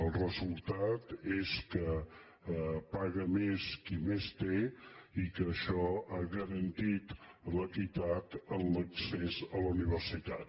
el resultat és que paga més qui més té i que això ha garantit l’equitat en l’accés a la universitat